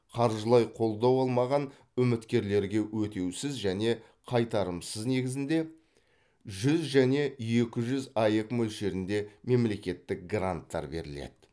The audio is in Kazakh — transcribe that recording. қаржылай қолдау алмаған үміткерлерге өтеусіз және қайтарымсыз негізінде жүз және екі жүз аек мөлшерінде мемлекеттік гранттар беріледі